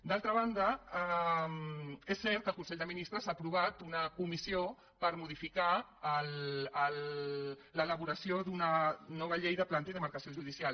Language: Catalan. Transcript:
d’altra banda és cert que el consell de ministres ha aprovat una comissió per modificar l’elaboració d’una nova llei de demarcació i planta judicial